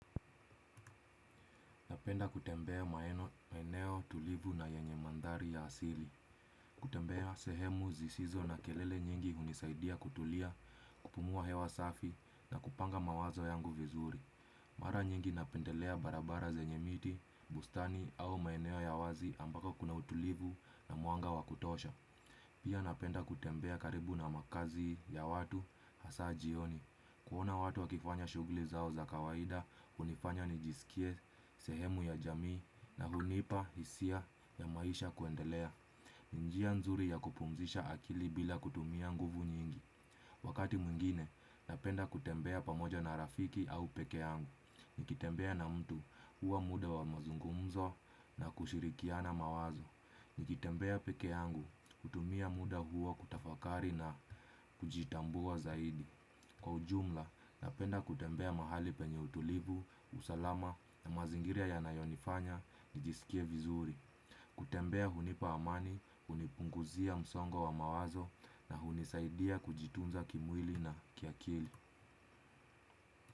Napenda kutembea maeneo tulivu na yenye mandhari ya asili. Kutembea sehemu zisizo na kelele nyingi hunisaidia kutulia, kupumua hewa safi na kupanga mawazo yangu vizuri. Mara nyingi napendelea barabara zenye miti bustani au maeneo ya wazi ambako kuna utulivu na mwanga wa kutosha. Pia napenda kutembea karibu na makazi ya watu hasaa jioni. Kuona watu wakiifanya shughuli zao za kawaida hunifanya nijisikie sehemu ya jamii na hunipa hisia ya maisha kuendelea. Ni njia nzuri ya kupumzisha akili bila kutumia nguvu nyingi. Wakati mwingine, napenda kutembea pamoja na rafiki au peke yangu. Nikitembea na mtu huwa muda wa mazungumzo na kushirikiana mawazo. Nikitembea peke yangu kutumia muda huo kutafakari na kujitambua zaidi. Kwa ujumla napenda kutembea mahali penye utulivu, usalama na mazingiria yanayonifanya nijisikie vizuri. Kutembea hunipa amani, hunipunguzia msongo wa mawazo na hunisaidia kujitunza kimwili na kiakili.